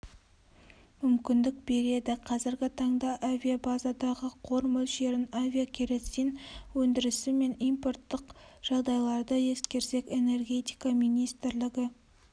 мүмкіндік береді қазіргі таңда авиабазадағы қор мөлшерлерін авиакеросин өндірісі мен импорттық жағдайларды ескерсек энергетика министрлігі